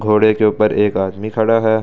घोड़े के ऊपर एक आदमी खड़ा है।